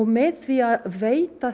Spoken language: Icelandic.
með því að veita